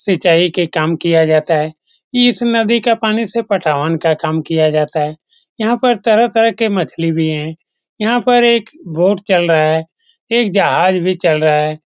सिंचाई के काम किया जाता है इस नदी का पानी से पटावन का काम किया जाता है यहाँ पर तरह-तरह के मछली भी है यहाँ पर एक बोट चल रहा एक जहाज भी चल रहा है।